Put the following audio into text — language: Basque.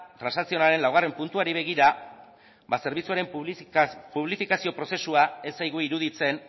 transakzionalaren laugarren puntuari begira zerbitzuaren publifikazio prozesua ez zaigu iruditzen